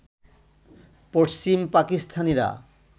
পশ্চিম পাকিস্তানিরা